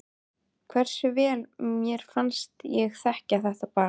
Hversu vel mér fannst ég þekkja þetta barn.